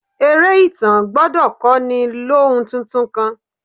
Eré ìtàn gbọ́dọ̀ kọ́ni lóhun tuntun kan.